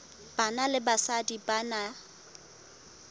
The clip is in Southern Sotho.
banna le basadi ba na